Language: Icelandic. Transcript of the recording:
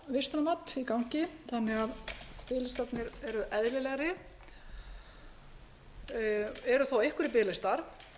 vistunarmat í gangi þannig að peningarnir eru eðlilegri það eru þó einhverjir biðlistar